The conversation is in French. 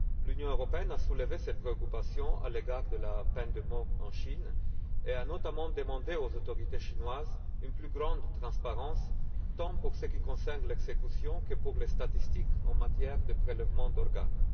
L'Union européenne a soulevé ces préoccupations à l'égard de la peine de mort en Chine et a notamment demandé aux autorités chinoises une plus grande transparence, tant pour ce qui concerne les exécutions que pour les statistiques en matière de prélèvement d'organes.